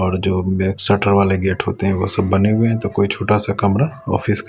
जो शटर वाले गेट होते हैं वो सब बने हुए हैं तो कोई छोटा सा कमरा ऑफिस --